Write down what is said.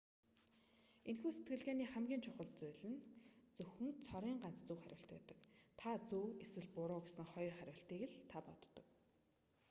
энэхүү сэтгэлгээний хамгийн чухал хүчин зүйл зөвхөн цорын ганц зөв хариулт байдаг та зөв эсвэл буруу гэсэн хоёр хариултыг л та боддог